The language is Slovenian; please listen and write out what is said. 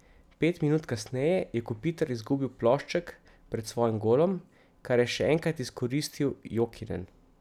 Pet minut kasneje je Kopitar izgubil plošček pred svojim golom, kar je še enkrat izkoristil Jokinen.